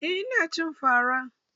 Eh ina cin fa ra.